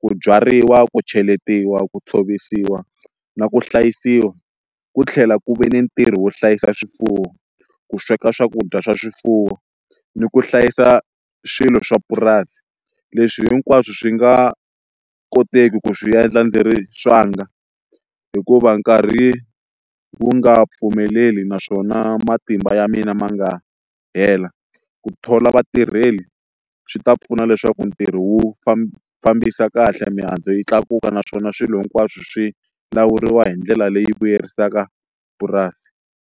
ku byariwa ku cheletiwa ku tshovisiwa na ku hlayisiwa ku tlhela ku ve ni ntirho wo hlayisa swifuwo ku sweka swakudya swa swifuwo ni ku hlayisa swilo swa purasi leswi hinkwaswo swi nga koteki ku swi endla ndzi ri swanga hikuva nkarhi wu nga pfumeleli naswona matimba ya mina ma nga hela ku thola vatirheli swi ta pfuna leswaku ntirho wu famba fambisa kahle mihandzu yi tlakuka naswona swilo hinkwaswo swi lawuriwa hi ndlela leyi vuyerisaka purasi.